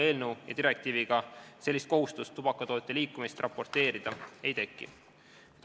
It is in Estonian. Eelnõu või direktiiviga kohustust tubakatoodete liikumist raporteerida ei teki.